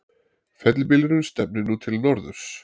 Fellibylurinn stefnir nú til norðurs